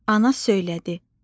Ana söylədi: